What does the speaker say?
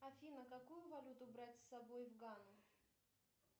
афина какую валюту брать с собой в гану